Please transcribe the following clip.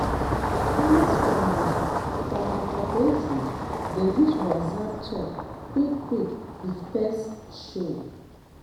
farmers for my for my cooperative dey use whatsapp talk quick quick if pest show.